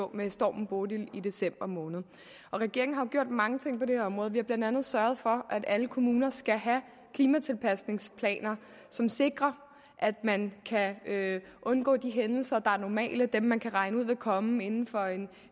med stormen bodil i december måned regeringen har jo gjort mange ting på det her område vi har blandt andet sørget for at alle kommuner skal have klimatilpasningsplaner som sikrer at man kan undgå de hændelser er normale dem man kan regne ud vil komme inden for